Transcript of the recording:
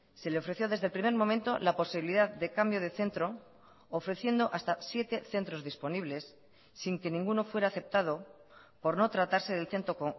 se le ofreció desde el primer momento la posibilidad de cambio de centro ofreciendo hasta siete centros disponibles sin que ninguno fuera aceptado por no tratarse del centro